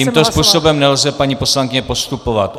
Tímto způsobem nelze, paní poslankyně, postupovat.